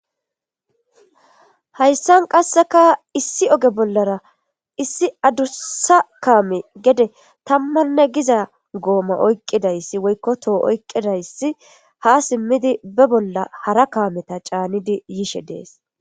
Haysan qaseka issi oge bolara issi adusa kamey gede tamanne giza goma oyqidaysi woyko toho oyqidaysi ha simidi be bola hara kameta c'anidi yishe de'es.